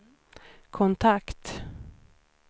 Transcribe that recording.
kontakt